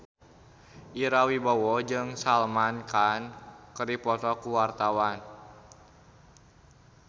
Ira Wibowo jeung Salman Khan keur dipoto ku wartawan